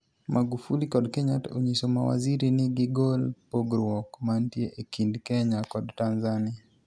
Magufuli kod Kenyatta onyiso mawaziri ni gigol pogruok mantie ekind Kenya kod Tanzania